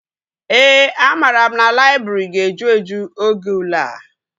Ee, amara m na laịbrị ga-eju eju oge ule a